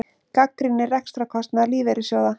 Gagnrýnir rekstrarkostnað lífeyrissjóða